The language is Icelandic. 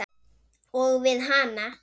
Og við hana.